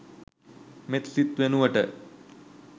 මෙත් සිත වෙනුවට